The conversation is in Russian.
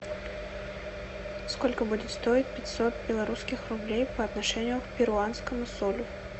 сколько будет стоить пятьсот белорусских рублей по отношению к перуанскому солю